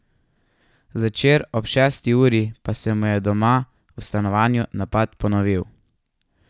Zvečer ob šesti uri pa se mu je doma v stanovanju napad ponovil.